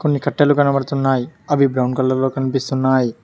కొన్ని కట్టలు కనబడుతున్నాయి అవి బ్రౌన్ కలర్ లో కనిపిస్తున్నాయ్